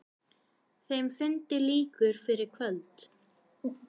Þeim fundi lýkur fyrir kvöld.